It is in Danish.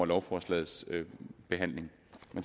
lovforslagets behandling